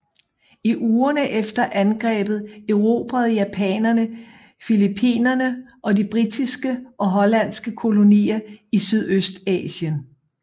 I ugerne efter angrebet erobrede japanerne Filippinerne og de britiske og hollandske kolonier i Sydøstasien